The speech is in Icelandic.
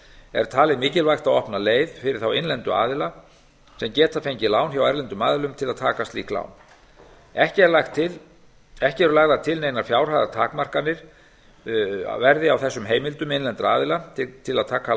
er talið mikilvægt að opna leið fyrir þá innlendu aðila sem geta fengið lán hjá erlendum aðilum til að taka slík lán ekki er lagt til að neinar fjárhæðartakmarkanir verði á þessum heimildum innlendra aðila til að taka